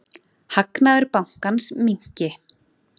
Hagnaður bankans minnki.